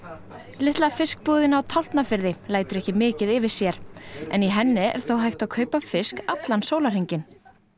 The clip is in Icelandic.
litla fiskbúðin á Tálknafirði lætur ekki mikið yfir sér en í henni er þó hægt að kaupa fisk allan sólahringinn